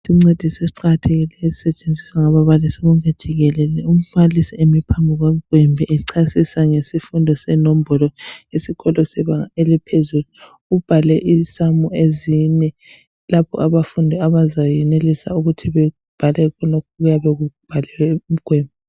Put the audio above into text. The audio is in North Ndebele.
Isincediso esiqakathekileyo esisetshenziswa ngababalisi bonke jikelele umbalisi emi phambi komgwembe echasisa ngesifundo senombolo esikolo sebanga eliphezulu ubhale isamu ezine lapho abafundi abazayenelisa ukuthi bebhale khonokho okuyabe kubhalwe emgwembeni.